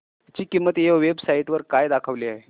ची किंमत या वेब साइट वर काय दाखवली आहे